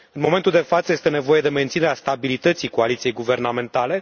În momentul de față, este nevoie de menținerea stabilității coaliției guvernamentale.